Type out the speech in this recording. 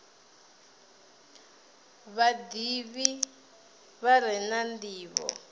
vhadivhi vha re na ndivho